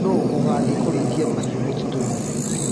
Nũ ũgũthĩi kũrĩithia mahiũ mũtitũinĩ.